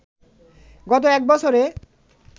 গত এক বছরে